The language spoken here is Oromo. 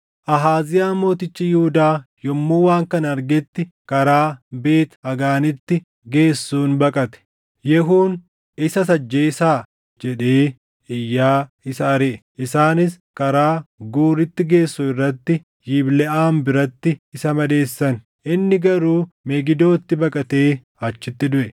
Ahaaziyaa mootichi Yihuudaa yommuu waan kana argetti karaa Beet Hagaanitti geessuun baqate. Yehuun, “Isas ajjeesaa!” jedhee iyyaa isa ariʼe. Isaanis karaa Guuritti geessu irratti Yibleʼaam biratti isa madeessan; inni garuu Megidootti baqatee achitti duʼe.